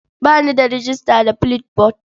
Ba ni da rejista da Flipboard.